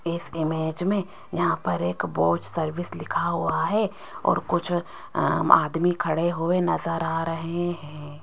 इस इमेज में यहां पर एक बोझ सर्विस लिखा हुआ है और कुछ आदमी खड़े हुए नजर आ रहे हैं।